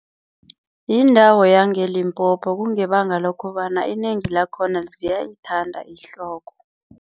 Yindawo yangeLimpopo. Kungebanga lokobana inengi lakhona ziyayithanda ihloko.